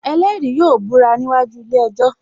Ẹlẹ́rìí yóò búra níwájú ilé ejò